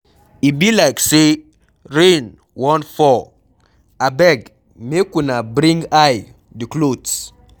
E be like say rain wan fall, abeg make una bring I the cloths.